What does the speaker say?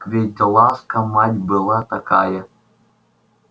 ведь ласка мать была такая